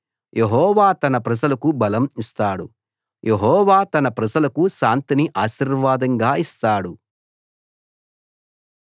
యెహోవా తన ప్రజలకు బలం ఇస్తాడు యెహోవా తన ప్రజలకు శాంతిని ఆశీర్వాదంగా ఇస్తాడు